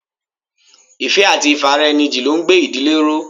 Ìfẹ́ àti ifaraeniji ló ń gbé ìdílé ró.